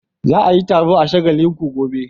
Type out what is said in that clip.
Za a yi taro a shagallinku hotel.